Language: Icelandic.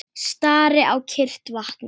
Stari á kyrrt vatnið.